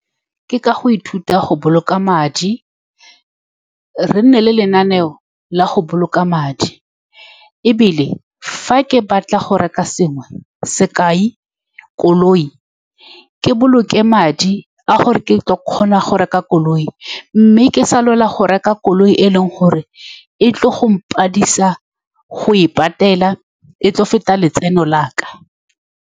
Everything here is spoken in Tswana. Ke ka go ithuta go boloka madi, re nne le lenaneo la go boloka madi, ebile, fa ke batla go reka sengwe. Sekai koloi, ke boloke madi a gore ke tlile go kgona go reka koloi, mme ke sa lwela go reka koloi e e leng gore e tlile go mpaledisa go e patela, e tlile go feta letseno la ka.